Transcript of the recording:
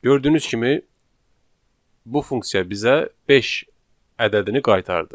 Gördüyünüz kimi bu funksiya bizə 5 ədədini qaytardı.